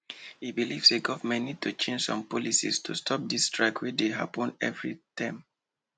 e believe say government need to change some policies to stop this strike wey dey happen every term